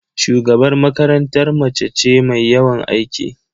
Shugabar makarantar mace ce mai yawan aiki.